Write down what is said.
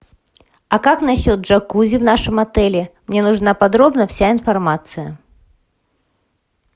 а как насчет джакузи в нашем отеле мне нужна подробно вся информация